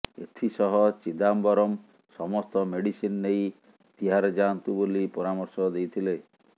ଏଥିସହ ଚିଦାମ୍ବରମ ସମସ୍ତ ମେଡିସିନ୍ ନେଇ ତିହାର ଯାଆନ୍ତୁ ବୋଲି ପରାମର୍ଶ ଦେଇଥିଲେ